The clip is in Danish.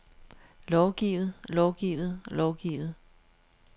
lovgivet lovgivet lovgivet